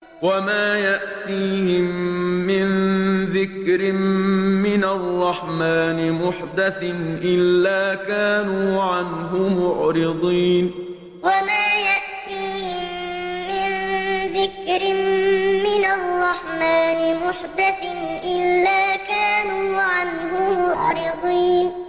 وَمَا يَأْتِيهِم مِّن ذِكْرٍ مِّنَ الرَّحْمَٰنِ مُحْدَثٍ إِلَّا كَانُوا عَنْهُ مُعْرِضِينَ وَمَا يَأْتِيهِم مِّن ذِكْرٍ مِّنَ الرَّحْمَٰنِ مُحْدَثٍ إِلَّا كَانُوا عَنْهُ مُعْرِضِينَ